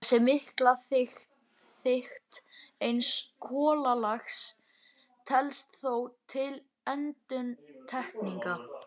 Þessi mikla þykkt eins kolalags telst þó til undantekninga.